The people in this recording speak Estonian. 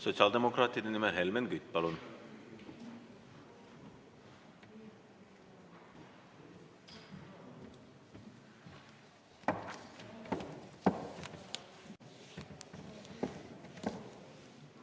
Sotsiaaldemokraatide nimel Helmen Kütt, palun!